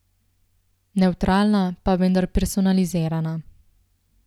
Nevtralna, pa vendar personalizirana.